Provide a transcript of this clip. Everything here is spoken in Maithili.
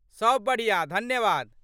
सभ बढ़िआँ, धन्यवाद।